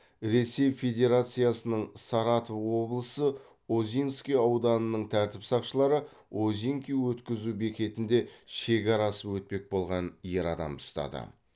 ресей федерациясының саратов облысы озинский ауданының тәртіп сақшылары озинки өткізу бекетінде шекара асып өтпек болған ер адамды ұстады